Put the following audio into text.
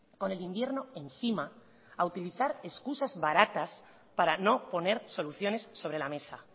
con el invierno encima a utilizar excusas baratas para no poner soluciones sobre la mesa